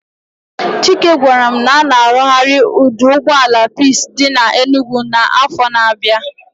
Chike gwaram na a ga arughari oduugboala peace di na Enugwu na afo na abia